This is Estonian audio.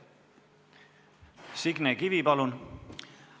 Signe Kivi, palun!